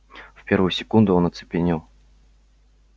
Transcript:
в первую секунду он оцепенел